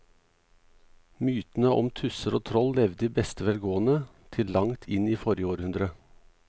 Mytene om tusser og troll levde i beste velgående til langt inn i forrige århundre.